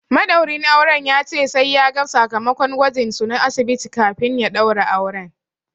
Maɗaurin auren ya ce sai ya ga sakamakon gwajin su na asibiti kafin ya ɗaura auren.